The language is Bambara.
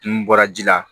N bɔra ji la